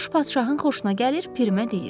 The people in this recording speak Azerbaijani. Quş padşahın xoşuna gəlir, Pirimə deyir: